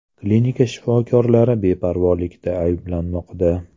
Klinika shifokorlari beparvolikda ayblanmoqda.